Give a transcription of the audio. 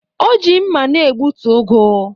O ji mma na-egbutu ugu